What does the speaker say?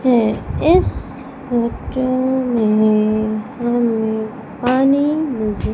ये इस फोटो में हमें पानी नजर--